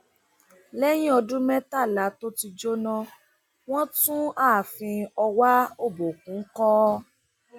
lẹyìn ọdún mẹtàlá tó ti jóná wọn tún ààfin ọwá òbòkùn kọ